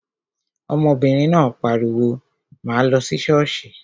Ọmọbìnrin náà pariwo, 'máa lọ sí ṣọ́ọ̀ṣì'